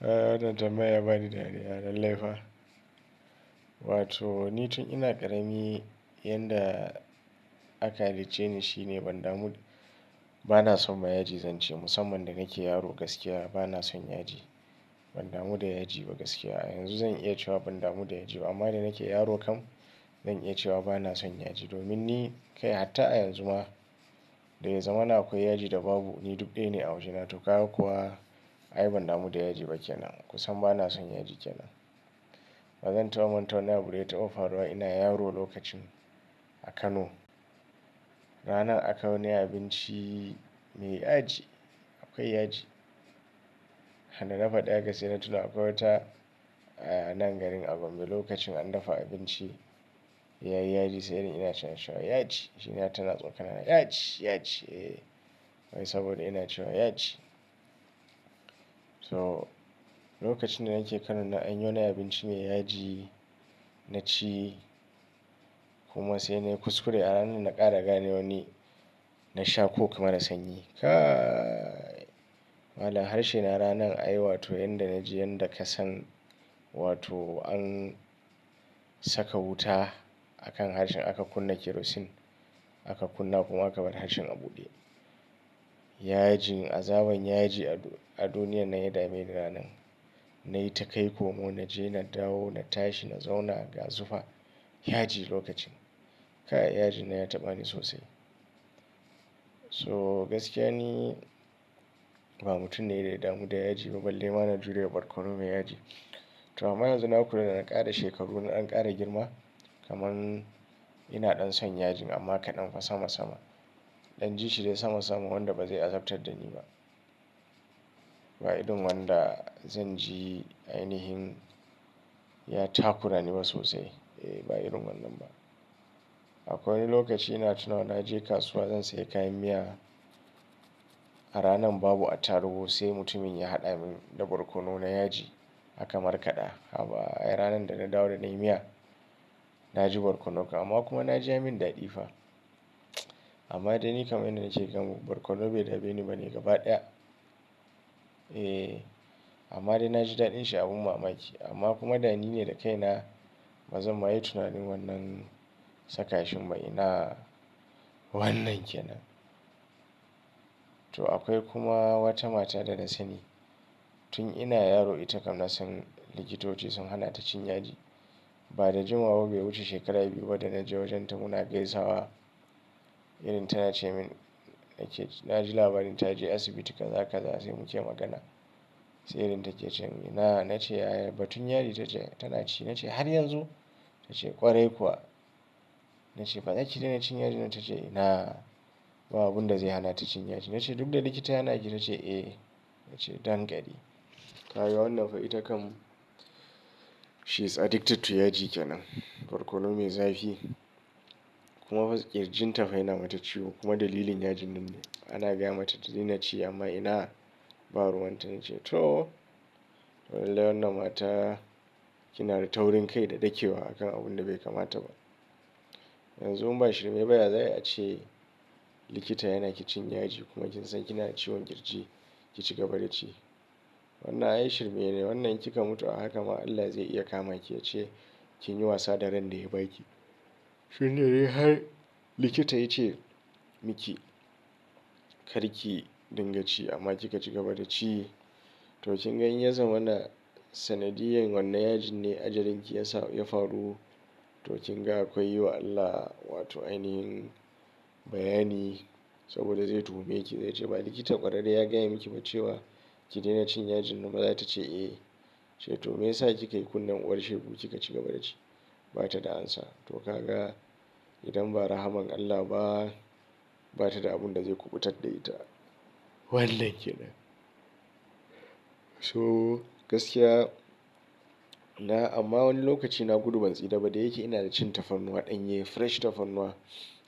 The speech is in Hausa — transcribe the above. Wannan tambaya ya bani dariya lalle fa. Wato, ni tun ina ƙarami, yadda aka hallice ni shine ban damu, bana son ma yaji zan ce. Musamman da nake yaro gaskiya bana son yaji. Ban damu da yaji ba gaskiya. A yanzu zan iya cewa ban damu da yaji ba. Amma da nake yaro kam, zan iya cewa bana son yaji. Domin ni kai hatta a yanzu ma, da ya zamana akwai yaji da babu, ni duk ɗaya ne a wajena. Toh ka gan kuwa ai ban damu da yaji ba kenan, ka san ba na son yaji kenan. Ba zan taɓa manta wani abu da ya taba faruwa ina yaro lokacin a Kano. Ranar aka yi wani abinci mai yaji, akwai yaji. Sanda na faɗa haka sai na tuna akwai wata a nan garin a Gombe lokacin an dafa abinci. Ya yi yaji sai irin ina cewa yaji. Shine har tana tsokana na, yaji, yaji. Eee! Wai saboda ina cewa yaji. Toh, lokacin da nake Kano nan an yi wani abinci mai yaji na ci kuma sai na yi kuskure a ranar na ƙara gane wani na sha coke mara sanyi. Kaiii! Mallam harshe na ranar ai wato yanda naji yanda ka san wato an saka wuta akan harshen a ka kunna kerosene a ka kunna kuma a ka bar harshen a bude. Yaji, azaban yaji a duniyar nan ya dame ni ranan. Na yi ta kai komo na je na dawo na tashi na zauna ga zufa. Yaji lokacin, kai yaji nan ya taɓa ni sosai. Toh gaskiya ni, ba mutum ne d ya damu da yaji ba, balle ma na jure barkono mai yaji. Toh amma yanzu na kula da na ƙara shekaru na dan ƙara girma. Kaman ina ɗan son yajin amma kaɗan fa sama sama. In ɗan ji shi dai sama sama wanda ba zai azabtar da ni ba. Ba irin wanda zan ji ainihin ya takura ni ba sosai. Eh ba irin wannan ba. Akwai wani lokaci ina tunawa na je kasuwa zan sayi kayan miya. A ranan babu attarugu sai mutumin ya haɗa mun da barkono na yaji aka markada. Haba ai! Ranar da na dawo da na yi miya, na ji barkonon kam. Amma kuma na ji ya yi min daɗi fa. Amma dai ni kam ina ji kam barkono bai dame ni ba ne gaba ɗaya. Eh amma dai na ji daɗin shi abun mamaki. Amma kuma da ni ne da kaina bazan ma yi tunanin wannan saka shin ba inaaa! Wannan kenan. To akwai kuma wata mata da na sani. Tun ina yaro ita kam na san likitoci sun hana ta cin yaji. Ba da jimawa ba bai wuce shekara biyu ba da na je wajen ta muna gaisawa. Irin tana cemin, na ke ce na ji labarin ta je asibiti kaza kaza sai muke magana. Sai irin take cewa, inaa, na ce batun yaji ta ce tana ci. Na ce har yanzu? Ta ce ƙwarai kuwa. Na ce ba za ki daina cin yaji? Ta ce inaa, babu abunda zai hana ta cin yaji. Na ce duk da likita ya hana ki? Ta ce eh. Na ce danƙari. Ka gan wannan fa ita kam she is addicted to yaji kenan. Barkono mai zafi. Kuma fa kirjinta fa yana mata ciwo kuma dalilin yajin nan ne. Ana gaya mata ki daina ci amma ina? Ba ruwan ta na ce. Tohh! Toh lallai wannan mata ki na da taurin kai da ɗakewa akan abun da bai kamata ba. Yanzu in ba shirme ba ya za'a yi ace likita ya hana ki cin yaji kuma kin san kina ciwon kirji ki cigaba da ci. Wannan ai shirme ne, wannan in ki ka mutu a haka ma Allah zai iya kama ki ya ce kin yi wasa da ran da ya baki. Tun da dai har likita ya ce miki kar ki dinga ci amma ki ka cigaba da ci. Toh kin gan in ya zama na sanadiyan wannan yajin ne ajalin ki ya faru. Toh kin ga akwai yi wa Allah wato ainihin bayani saboda zai tuhume ki. Zai ce ba likita ƙwararre ya gaya miki ba cewa ki daina cin yajin nan ba za tace eh. Ya ce toh me yasa kika yi kunne uwar shegu ki ka cigaba da ci? Ba ta da amsa. Toh ka ga idan ba rahman Allah ba, ba ta da abun da zai kubutar da ita. Wannnan kenan. So gaskiya, na amma wani lokaci na gudu ban tsira ba da yake ina da cin tafarnuwa ɗanye fresh tafarnuwa.